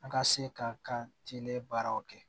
An ka se ka kan tile baaraw kɛ